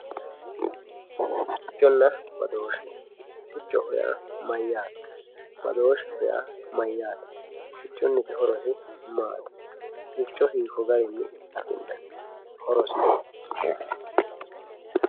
Sicconna badooshe, siccoho yaa mayate, badoosheho yaa mayate, siccuniti horosi maati, sicco hiiko garinni afinayi, horosino